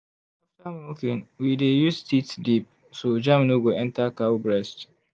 after milking we we dey use teat dip so germ no go enter cow breast.